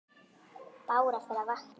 Bára fer að vakna.